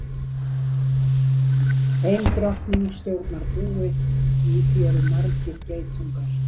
Ein drottning stjórnar búi og í því eru margir geitungar.